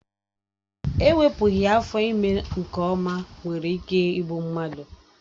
Ewepụghị afọ ime nke ọma nwere ike ịbụ mmadụ.